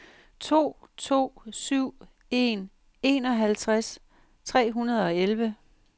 to to syv en enoghalvtreds tre hundrede og elleve